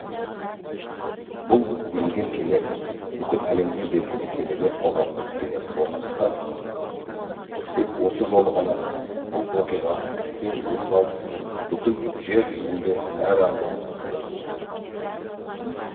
бұл мінген кеме бүкіл әлемге белгілі кемелер коғамының кемесі болғандықтан тек осы жолы ғана бұл оқиға кең өріс алып бүкіл жер жүзінде әралуан пікірлер туғызды